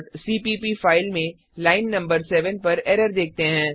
cpp file में line नं 7 पर एरर देखते हैं